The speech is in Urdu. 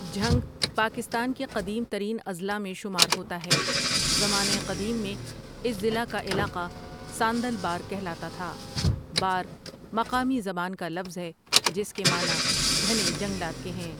جھنگ پاکستان کے قدیم ترین اضلاع میں شمار ہوتا ہے زمانہ قدیم میں اس ضلع کا علاقہ ساندل بار کہلاتا تھا بار، مقامی زبان کا لفظ ہے، جس کے معنی گھنے جنگلات کے ہیں ۔